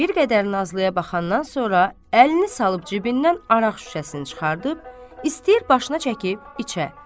Bir qədər Nazlıya baxandan sonra əlini salıb cibindən araq şüşəsini çıxardıb, istəyir başını çəkib içə.